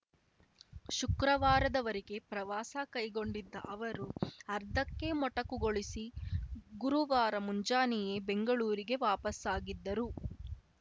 ಶುಕ್ರವಾರದವರೆಗೆ ಪ್ರವಾಸ ಕೈಗೊಂಡಿದ್ದ ಅವರು ಅರ್ಧಕ್ಕೆ ಮೊಟಕುಗೊಳಿಸಿ ಗುರುವಾರ ಮುಂಜಾನೆಯೇ ಬೆಂಗಳೂರಿಗೆ ವಾಪಸಾಗಿದ್ದರು